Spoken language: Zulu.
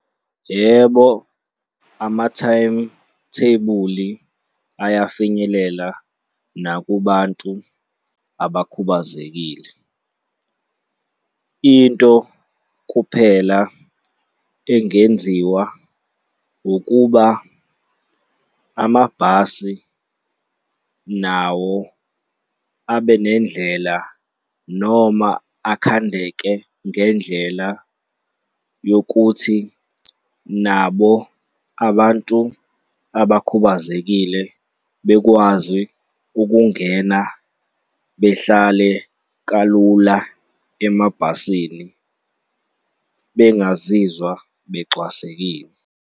Yebo, amathayimithebuli ayafinyelela nakubantu abakhubazekile. Into kuphela engenziwa ukuba amabhasi nawo abe nendlela noma akhandeke ngendlela yokuthi nabo abantu abakhubazekile bekwazi ukungena behlale kalula emabhasini bengazizwa becwasekile.